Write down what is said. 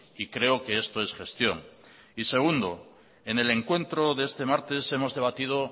y creo que esto es gestión y segundo en el encuentro de este martes hemos debatido